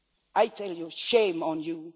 I say, shame on you!